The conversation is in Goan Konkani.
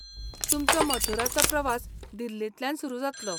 तुमचो मथुराचो प्रवास दिल्लींतल्यान सुरू जातलो.